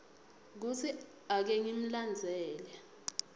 kutsi ake ngimlandzele